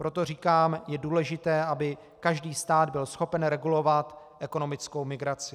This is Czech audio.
Proto říkám, je důležité, aby každý stát byl schopen regulovat ekonomickou migraci.